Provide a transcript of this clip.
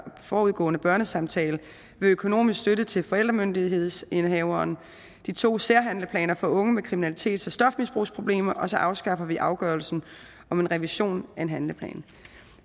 forudgående børnesamtale ved økonomisk støtte til forældremyndighedsindehaveren og de to særhandleplaner for unge med kriminalitets og stofmisbrugsproblemer og så afskaffer vi afgørelsen om en revision af en handleplan